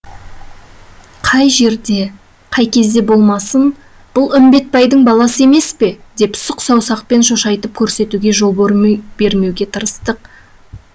қай жерде қай кезде болмасын бұл үмбетбайдың баласы емес пе деп сұқ саусақпен шошайтып көрсетуге жол бермеуге тырыстық